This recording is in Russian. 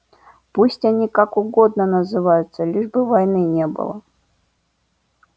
пусть они как угодно называются лишь бы войны не было